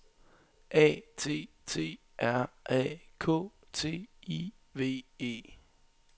A T T R A K T I V E